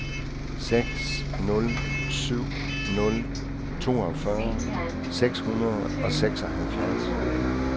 seks nul syv nul toogfyrre seks hundrede og seksoghalvfjerds